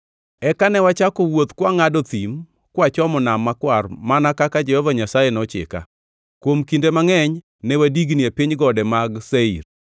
Eka ne wachako wuoth kwangʼado thim kwachomo Nam Makwar mana kaka Jehova Nyasaye nochika. Kuom kinde mangʼeny ne wadigni e piny gode mag Seir.